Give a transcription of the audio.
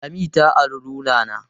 Lami ta ari rula na.